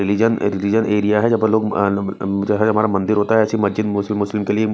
religion religion area हैं जहाॅं पर लोग अम जो हमारा मंदिर होता है ऐसी मस्जिद मुस्लिम मुस्लिम के लिए--